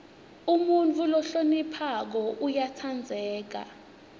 umuntfu lohloniphako uyatsandzeka